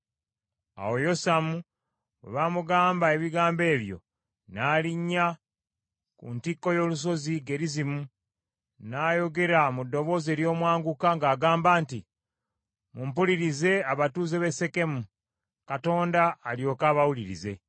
Awo Yosamu bwe baamugamba ebigambo ebyo, n’alinnya ku ntikko y’olusozi Gerizimu n’ayogera mu ddoboozi ery’omwanguka ng’agamba nti, “Mumpulirize abatuuze b’e Sekemu, Katonda alyoke abawulirize.